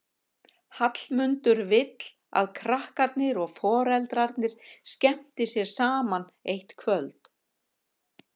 Hallmundur vill að krakkarnir og foreldrarnir skemmti sér saman eitt kvöld.